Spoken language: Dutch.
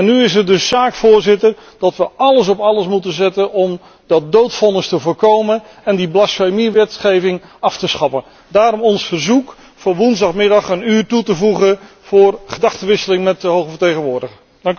Nu is het dus zaak, Voorzitter, dat we alles op alles zetten om de uitvoering van dat doodvonnis te voorkomen en die blasfemiewetgeving af te schaffen. Daarom ons verzoek om woensdagmiddag een uur toe te voegen voor gedachtewisseling met de Hoge Vertegenwoordiger.